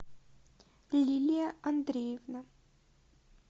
лилия андреевна